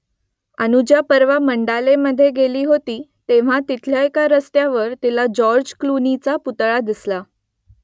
अनुजा परवा मंडालेमधे गेली होती तेव्हा तिथल्या एका रस्त्यावर तिला जॉर्ज क्लूनीचा पुतळा दिसला